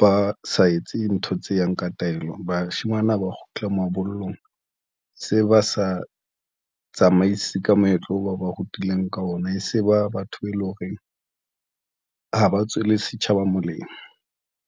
ba sa etse ntho tse yang ka taelo. Bashemane ha ba kgutla mabollong, se ba sa tsamaise ka moetlo oo ba o ba rutileng ka ona, e se ba batho be eleng horeng ha ba tswela setjhaba molemo.